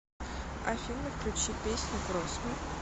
афина включи песню кросс ми